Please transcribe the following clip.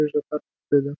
көре жатармыз деді